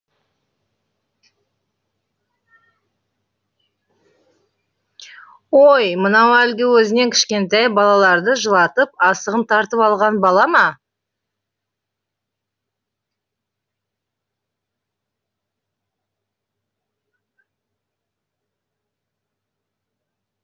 ой мынау әлгі өзінен кішкентай балаларды жылатып асығын тартып алған бала ма